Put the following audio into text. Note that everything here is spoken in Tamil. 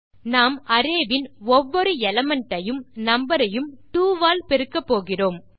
நாம் அரே வின் ஒவ்வொரு எலிமெண்ட் ஐயும் நம்பர் ஐயும் 2 ஆல் பெருக்கப்போகிறோம்